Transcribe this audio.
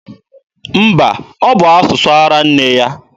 Mba, ọ bụ asụsụ ara nne ya.